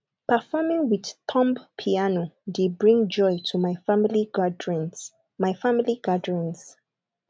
performing with thumb piano dey bring joy to my family gatherings my family gatherings